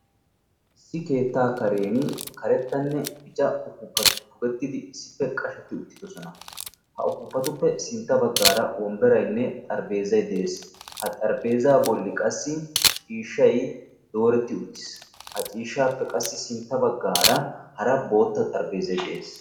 issi keetta karen karettanne bichchcha upupati pugettidi issippe qashsheti uttidoosona; ha upupatuppe sintta baggara ciishshay dooreti uttiis; ha ciishshappe qassi sintta baggara hara boottaa xaraphphezay de'ees